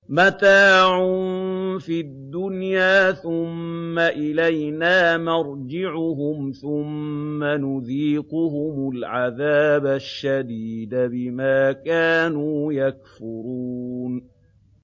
مَتَاعٌ فِي الدُّنْيَا ثُمَّ إِلَيْنَا مَرْجِعُهُمْ ثُمَّ نُذِيقُهُمُ الْعَذَابَ الشَّدِيدَ بِمَا كَانُوا يَكْفُرُونَ